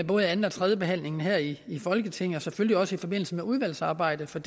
både anden og tredjebehandlingen her i i folketinget og selvfølgelig også i forbindelse med udvalgsarbejdet for